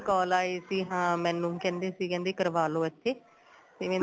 call ਆਈ ਸੀ ਹਾਂ ਮੈਨੂੰ ਕਹਿੰਦੇ ਸੀ ਕਹਿੰਦੇ ਕਰਵਾਲੋ ਇੱਥੇ ਤੇ